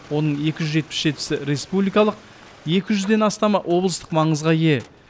оның екі жүз жетпіс жетісі республикалық екі жүзден астамы облыстық маңызға ие